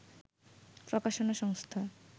প্রকাশনা সংস্থা